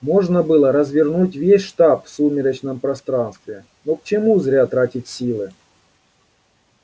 можно было развернуть весь штаб в сумеречном пространстве но к чему зря тратить силы